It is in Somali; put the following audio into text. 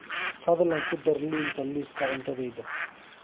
fadlan ku dar liinta liiska cuntadayda